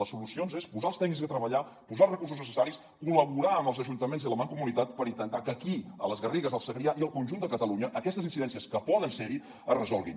les solucions és posar els tècnics a treballar posar els recursos necessaris col·laborar amb els ajuntaments i la mancomunitat per intentar que aquí a les garrigues al segrià i al conjunt de catalunya aquestes incidències que poden ser hi es resolguin